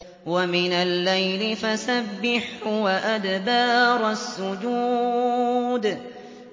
وَمِنَ اللَّيْلِ فَسَبِّحْهُ وَأَدْبَارَ السُّجُودِ